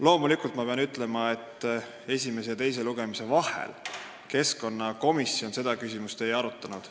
Loomulikult ma pean ütlema, et esimese ja teise lugemise vahel keskkonnakomisjon seda küsimust ei arutanud.